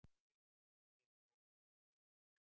Ég er ljónið á veginum.